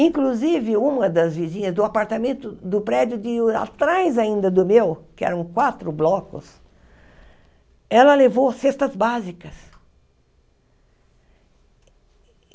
Inclusive, uma das vizinhas do apartamento do prédio de atrás ainda do meu, que eram quatro blocos, ela levou cestas básicas.